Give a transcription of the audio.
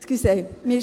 Entschuldigen Sie.